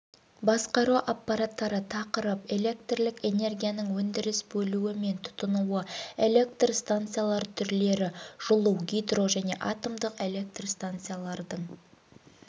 басқару аппараттары тақырып электрлік энергияның өндіріс бөлуі мен тұтынуы электростанциялар түрлері жылу гидро және атомдық электростанциялардың